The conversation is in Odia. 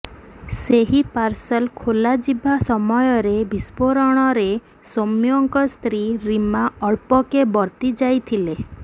ସେହି ପାର୍ସଲ ଖୋଲାଯିବା ସମୟରେ ବିସ୍ଫୋରଣରେ ସୌମ୍ୟଙ୍କ ସ୍ତ୍ରୀ ରିମା ଅଳ୍ପକେ ବର୍ତ୍ତିଯାଇଥିଲେ